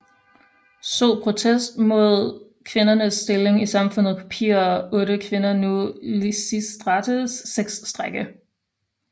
So protest mod kvindernes stilling i samfundet kopierer otte kvinder nu Lisistrates sexstrejke